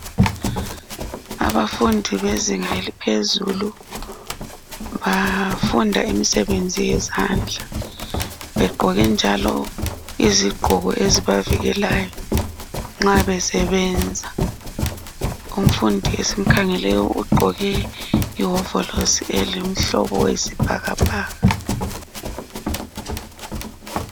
Abafundi bezinga eliphezulu bafunda imisebenzi yezandla begqoke njalo izigqoko ezibavikelayo nxa besebenza, umfundi esimkhangeleyo ugqoke iwovorosi engumbala oyisibhakabhaka.